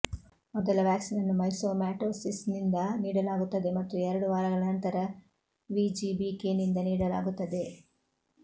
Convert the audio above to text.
ಮೊದಲ ವ್ಯಾಕ್ಸಿನನ್ನು ಮೈಕ್ಸೊಮಾಟೋಸಿಸ್ನಿಂದ ನೀಡಲಾಗುತ್ತದೆ ಮತ್ತು ಎರಡು ವಾರಗಳ ನಂತರ ವಿಜಿಬಿಕೆ ನಿಂದ ನೀಡಲಾಗುತ್ತದೆ